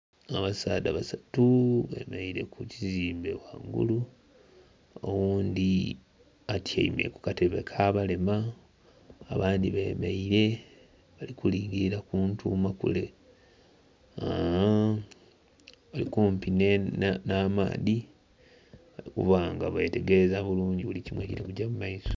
Abasaadha basatu beemereire ku kizimbe ghangulu, oghundhi atyaime kukatebe ak'abalema abandhi beemereire bali kulingirira ku ntuuma kule. Bali kumpi n'amaadhi okuba nga betegereza bulungi buli kimu ekiri kugya mu maiso.